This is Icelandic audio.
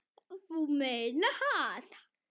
Þú meinar það.